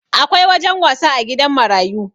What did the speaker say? Akwai wajen wasa a gidan marayu